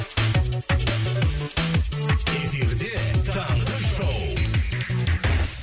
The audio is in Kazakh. эфирде таңғы шоу